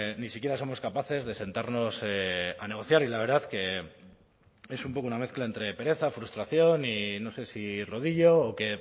ni siquiera somos capaces de sentarnos a negociar y la verdad que es un poco una mezcla entre pereza frustración y no sé si rodillo o que